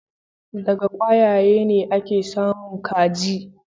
Daga kwayaye ne ake samun kaji.